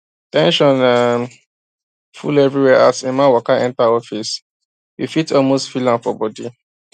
ten sion um full everywhere as emma waka enter office you fit almost feel am for body